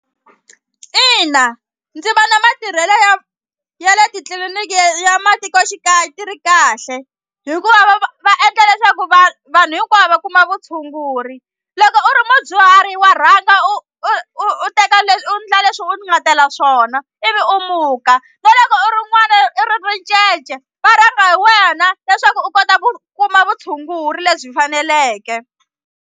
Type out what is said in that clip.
Ina ndzi vona matirhelo ya ya le titliliniki ya matikoxikaya ti ri kahle hikuva va va va endla leswaku vanhu hinkwavo va kuma vutshunguri loko u ri mudyuhari wa rhanga u u u teka leswi u ndla leswi u nga tela swona ivi u muka na loko u rin'wana i ri ricece va rhanga hi wena leswaku u kota ku kuma vutshunguri lebyi faneleke.